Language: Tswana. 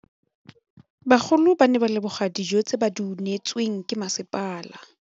Bagolo ba ne ba leboga dijô tse ba do neêtswe ke masepala.